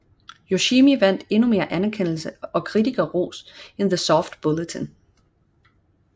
Yoshimi vandt endnu mere anerkendelse og kritikerros end The Soft Bulletin